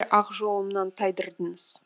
ақ жолымнан тайдырдыңыз